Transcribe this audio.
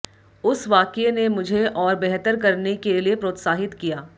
उस वाकये ने मुझे और बेहतर करने के लिए प्रोत्साहित किया